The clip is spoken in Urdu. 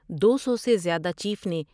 دو سو سے زیادہ چیف نے